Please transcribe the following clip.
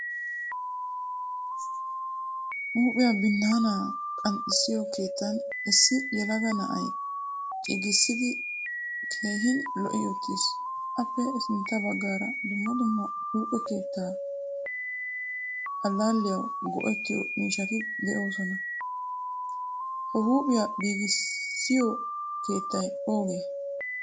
Huuphphiyaa binaana qanxisiyo keettan issi yelaga na'ay cigisidi keehin lo'i uttiis. Appe sintta baggaara dumma dumma huuphphe keettaa allaliyawu go'ettiyo miishshati deosona. Ha huuphphiyaa giigisiyo keettay oogee?